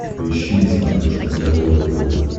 поищи на смотрешке здоровое тв